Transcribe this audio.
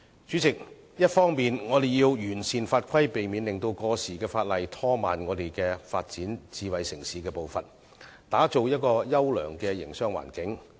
主席，我們必須完善法規，避免本港發展智慧城市的步伐被過時的法例拖慢，以致無法打造優良的營商環境。